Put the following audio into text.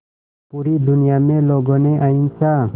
पूरी दुनिया में लोगों ने अहिंसा